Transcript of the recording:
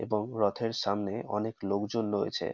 এবং রথের সামনে অনেক লোকজন রয়েছে।